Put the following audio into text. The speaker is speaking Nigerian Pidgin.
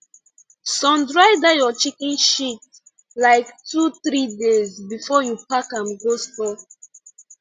sun dry that your chicken shit like two three days before you park am go store